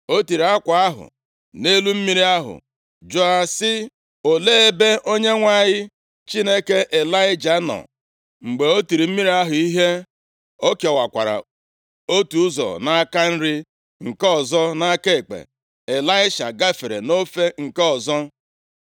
O tiri akwa ahụ + 2:14 Akwa ahụ Maọbụ, uwe mwụda Ịlaịja \+xt 2Ez 2:8.\+xt* nʼelu mmiri ahụ jụọ sị, “Olee ebe Onyenwe anyị, Chineke Ịlaịja nọ?” Mgbe o tiri mmiri ahụ ihe, o kewakwara otu ụzọ nʼaka nri nke ọzọ nʼaka ekpe, Ịlaisha gafere nʼofe nke ọzọ.